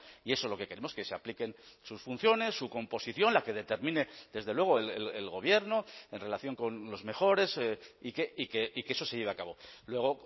y eso es lo que queremos que se apliquen sus funciones su composición la que determine desde luego el gobierno en relación con los mejores y que eso se lleve a cabo luego